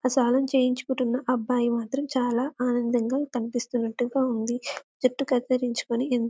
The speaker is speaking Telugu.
మసాజ్ చేయించుకుంటున్న అబ్బాయి మాత్రం చాలా ఆనందంగా కనిపిస్తూ ఉన్నట్టు ఉంది జుట్టు మాత్రం కటింగ్ చేయించుకొని.